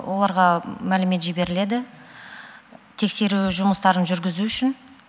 оларға мәлімет жіберіледі тексеру жұмыстарын жүргізу үшін